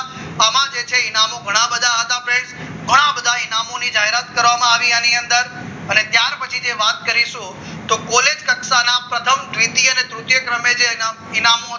આમાં જે છે એનામાં ઘણા બધા હતા friends ઘણા બધા ઇનામોની જાહેરાત કરવામાં આવી આની અંદર અને ત્યાર પછી જે વાત કરીશું તો પોલીસ કક્ષાના પ્રથમ દ્વિતીય તૃતીય ક્રમે છે ઇનામ